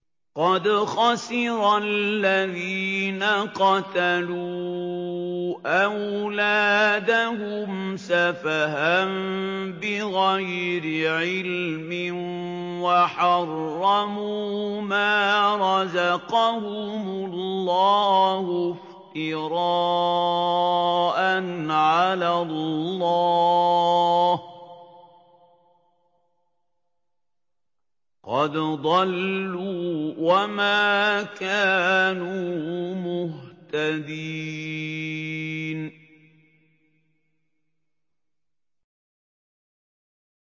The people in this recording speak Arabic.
قَدْ خَسِرَ الَّذِينَ قَتَلُوا أَوْلَادَهُمْ سَفَهًا بِغَيْرِ عِلْمٍ وَحَرَّمُوا مَا رَزَقَهُمُ اللَّهُ افْتِرَاءً عَلَى اللَّهِ ۚ قَدْ ضَلُّوا وَمَا كَانُوا مُهْتَدِينَ